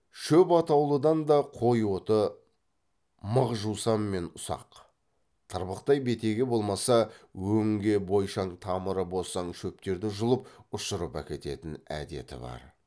шөп атаулыдан да қой оты мық жусан мен ұсақ тырбықтай бетеге болмаса өңге бойшаң тамыры босаң шөптерді жұлып ұшырып әкететін әдеті бар